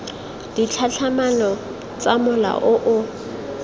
ditlhatlhamano tsa mola o o